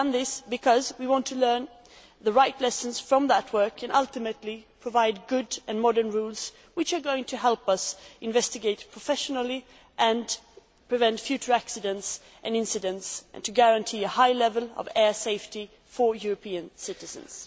We have done this because we want to learn the right lessons from that work and ultimately provide good and modern rules which will help us investigate professionally and prevent future accidents and incidents, and which will guarantee a high level of air safety for European citizens.